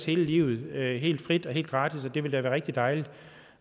hele livet helt frit og helt gratis og det ville rigtig dejligt